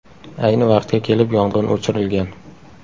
Ayni vaqtga kelib yong‘in o‘chirilgan.